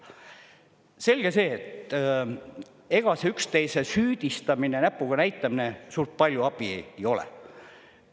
Selge see, et ega see üksteise süüdistamine, näpuga näitamine suurt palju abi ei ole.